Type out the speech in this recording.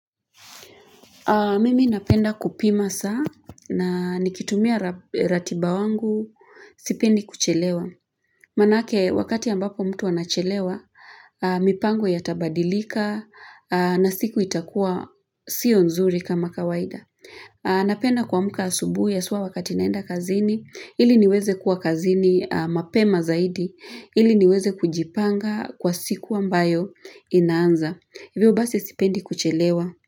Mimi napenda kupima saa na nikitumia ratiba wangu sipendi kuchelewa. Manake wakati ambapo mtu anachelewa, mipango yatabadilika na siku itakua sio nzuri kama kawaida. Napenda kuamka asubui haswa wakati naenda kazini, ili niweze kuwa kazini mapema zaidi, ili niweze kujipanga kwa siku ambayo inaanza. Hivyo basi sipendi kuchelewa.